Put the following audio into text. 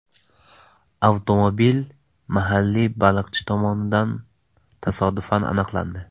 Avtomobil mahalliy baliqchi tomonidan tasodifan aniqlandi.